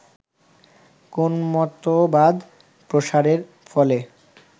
কোন মতবাদ প্রসারের ফলে